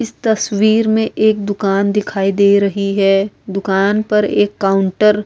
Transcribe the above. اس تشویر مے ایک دکان دکھائی دے رہی ہے۔ دکان پر ایک کاؤنٹر --